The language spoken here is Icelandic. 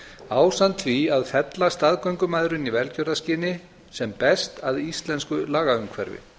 ásamt því að fella staðgöngumæðrun í velgjörðarskyni sem best að íslensku lagaumhverfi